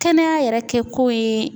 Kɛnɛya yɛrɛ kɛko ye